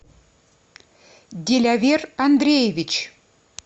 дилявер андреевич